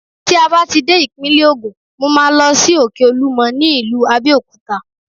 Tí a bá ti dé ìpínlè Ògùn, mo máa lọ sí Òkè Olúmọ ní ìlú Abẹ́òkúta.